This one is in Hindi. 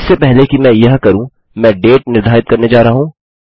इससे पहले कि मैं यह करूँ मैं डेट निर्धारित करने जा रहा हूँ